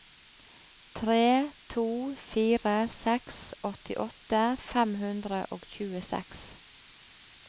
tre to fire seks åttiåtte fem hundre og tjueseks